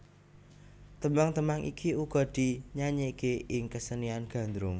Tembang tembang iki uga dinyanyèkké ing kasenian Gandrung